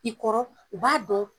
I kɔrɔ u b'a dɔn.